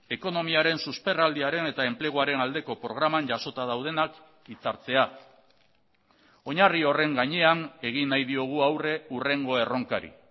ekonomiaren susperraldiaren eta enpleguaren aldeko programan jasota daudenak hitzartzea oinarri horren gainean egin nahi diogu aurre hurrengo erronkari